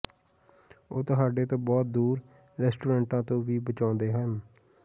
ਉਹ ਤੁਹਾਡੇ ਤੋਂ ਬਹੁਤ ਦੂਰ ਰੈਸਟੋਰੈਂਟਾਂ ਤੋਂ ਵੀ ਬਚਾਉਂਦੇ ਹਨ